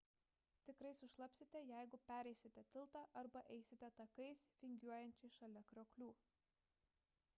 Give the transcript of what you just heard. tikrai sušlapsite jeigu pereisite tiltą arba eisite takais vingiuojančiais šalia krioklių